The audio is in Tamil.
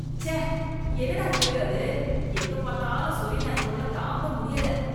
ச்ச. என்ன தான் தெரு அது. எங்க பாத்தாலும் சொறி நாய் தொல்ல தாங்க முடியல.